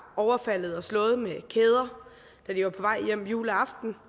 overfaldet og slået med kæder da de var på vej hjem juleaften